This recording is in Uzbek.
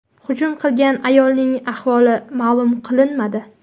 Hujum qilgan ayolning ahvoli ma’lum qilinmadi.